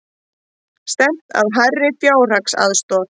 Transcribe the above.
Stefnt að hærri fjárhagsaðstoð